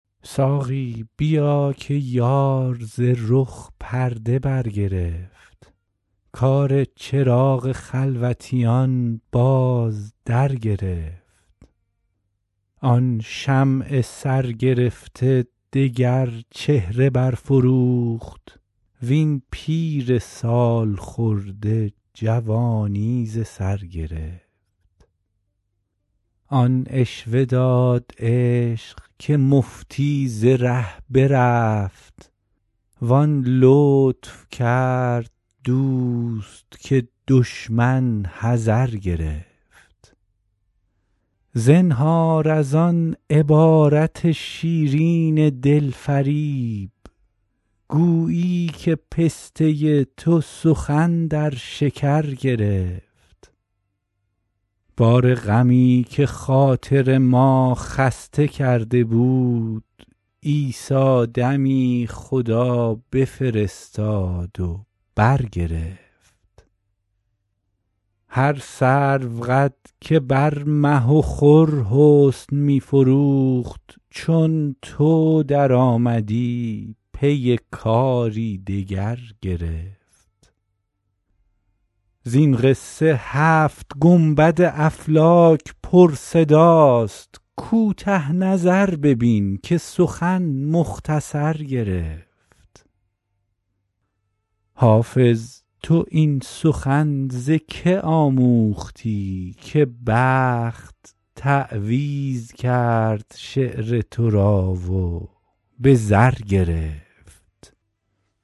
ساقی بیا که یار ز رخ پرده برگرفت کار چراغ خلوتیان باز درگرفت آن شمع سرگرفته دگر چهره برفروخت وین پیر سال خورده جوانی ز سر گرفت آن عشوه داد عشق که مفتی ز ره برفت وان لطف کرد دوست که دشمن حذر گرفت زنهار از آن عبارت شیرین دل فریب گویی که پسته تو سخن در شکر گرفت بار غمی که خاطر ما خسته کرده بود عیسی دمی خدا بفرستاد و برگرفت هر سروقد که بر مه و خور حسن می فروخت چون تو درآمدی پی کاری دگر گرفت زین قصه هفت گنبد افلاک پرصداست کوته نظر ببین که سخن مختصر گرفت حافظ تو این سخن ز که آموختی که بخت تعویذ کرد شعر تو را و به زر گرفت